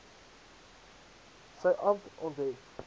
sy amp onthef